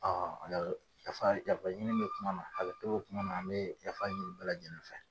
yafa yafaɲini bɛ kuma na hakɛto kuma na, an bee yafa ɲini bɛɛ lajɛlen fɛ.